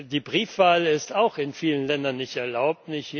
Die Briefwahl ist auch in vielen Ländern nicht erlaubt.